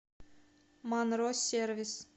монро сервис